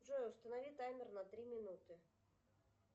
джой установи таймер на три минуты